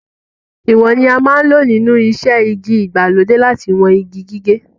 Ìwọ̀n ni a máa ń lò nínú iṣẹ́ igi ìgbàlódé láti wọn igi gígé.